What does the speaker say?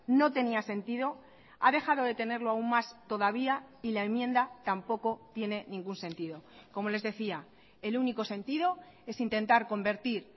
no tenía sentido ha dejado de tenerlo aún más todavía y la enmienda tampoco tiene ningún sentido como les decía el único sentido es intentar convertir